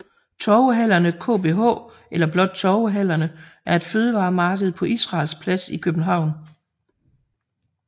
TorvehallerneKBH eller blot Torvehallerne er et fødevaremarked på Israels Plads i København